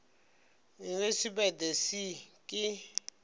university by the sea ke